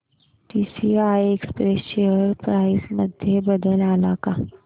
TCI express share price मध्ये बदल आलाय का